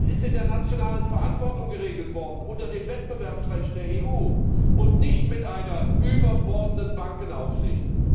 Das ist in der nationalen Verantwortung geregelt worden, unter dem Wettbewerbsrecht der EU, und nicht mit einer überbordenden Bankenaufsicht.